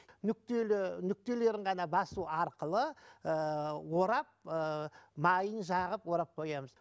нүктелі нүктелерін ғана басу арқылы ыыы орап ыыы майын жағып орап қоямыз